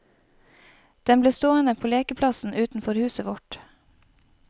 Den ble stående på lekeplassen utenfor huset vårt.